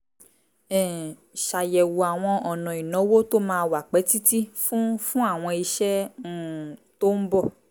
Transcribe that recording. um ṣàyẹ̀wò àwọn ọ̀nà ìnáwó tó máa wà pẹ́ títí fún fún àwọn iṣẹ́ um tó ń bọ̀